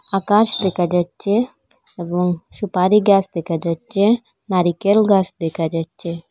আকাশ দেখা যাচ্ছে এবং সুপারি গাস দেখা যাচ্ছে নারিকেল গাস দেখা যাচ্ছে।